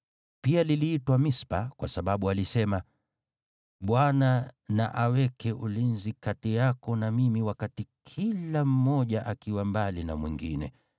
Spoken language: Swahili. Pia liliitwa Mispa, kwa sababu alisema, “ Bwana na aweke ulinzi kati yako na mimi wakati kila mmoja akiwa mbali na mwingine.